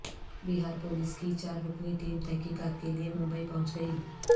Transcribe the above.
بہار police کی چاررکنی team تحقیقات کیلئے ممبئی پہنچ گئی